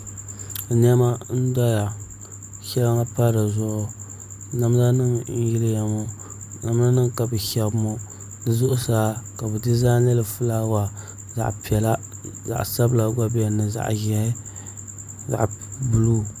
Niɛma n doya ka shɛŋa pa dizuɣu namda nim n yiliya ŋɔ namda nim ka bi shɛbi ŋɔ di zuɣusaa ka bi dizaainili fulaawa zaɣ piɛla zaɣ sabila gba biɛni ni zaɣ ʒiɛhi zaɣ buluu